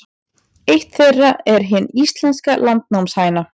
Eitt þeirra er hin íslenska landnámshæna.